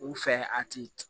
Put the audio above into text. U fɛ a ti